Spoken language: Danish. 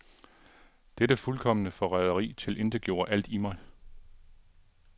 Dette fuldkomne forræderi tilintetgjorde alt i mig.